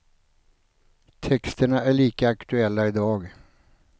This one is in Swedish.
Texterna är lika aktuella i dag.